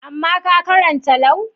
Amma ka karanta Lau?